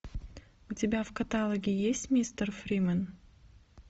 у тебя в каталоге есть мистер фримен